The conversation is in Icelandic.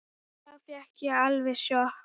Þá fékk ég alveg sjokk.